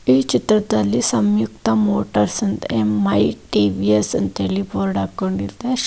ಈ ಚಿತ್ರದಲ್ಲಿ ಸಂಗೀತ ಮೋಟಾರ್ಸ್ ಬೇಕಂತ ಟಿ_ವಿ_ಎಸ್ ಸ್ಟಡಿ ಗೌಡನ ಹಾಕಿದ್ದಾರೆ.